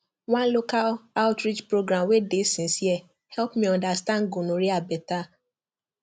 one local outreach program wey dey sincere help me understand gonorrhea better